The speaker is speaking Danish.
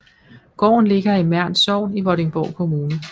Gården ligger i Mern Sogn i Vordingborg Kommune